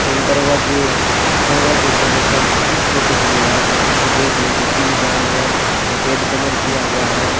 एवं दरवाजे दरवाजे से लेकर कुर्सियो तक भी यहां पर अच्छी बैठने की सुविधाएं हैं सफेद कलर किया हुआ है।